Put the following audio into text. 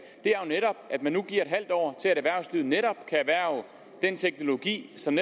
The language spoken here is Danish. er at man nu giver et halvt år til at erhvervslivet netop kan erhverve den teknologi som